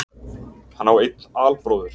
Hann á einn albróður